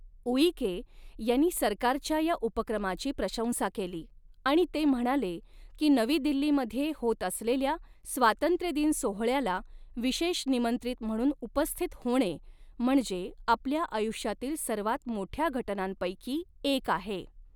ऊईके यांनी सरकारच्या या उपक्रमाची प्रशंसा केली आणि ते म्हणाले की नवी दिल्लीमध्ये होत असलेल्या स्वातंत्र्यदिन सोहळ्याला विशेष निमंत्रित म्हणून उपस्थित होणे म्हणजे आपल्या आयुष्यातील सर्वात मोठ्या घटनांपैकी एक आहे.